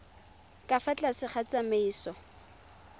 ka fa tlase ga tsamaiso